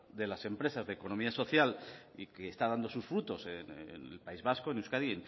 de las empresas de economía social y que está dando sus frutos en el país vasco en euskadi